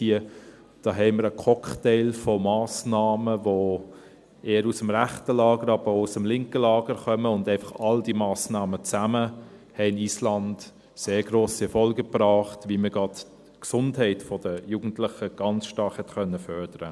Hier haben wir einen Cocktail an Massnahmen, die eher aus dem rechten Lager, aber auch aus dem linken Lager kommen, und all diese Massnahmen zusammen haben Island sehr grosse Erfolge gebracht, wie man gerade die Gesundheit der Jugendlichen ganz stark fördern konnte.